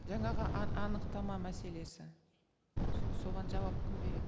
жаңағы анықтама мәселесі соған жауап кім береді